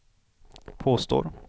påstår